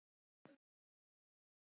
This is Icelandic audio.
Gísli vinur minn er dáinn.